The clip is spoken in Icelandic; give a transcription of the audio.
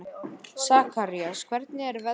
Sakarías, hvernig er veðrið á morgun?